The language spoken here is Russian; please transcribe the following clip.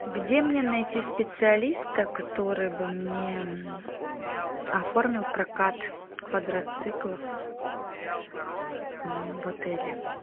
где мне найти специалиста который бы мне оформил прокат квадроциклов в отеле